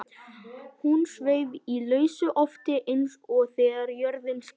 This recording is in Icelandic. Hún sveif í lausu lofti eins og þegar jörðin skalf.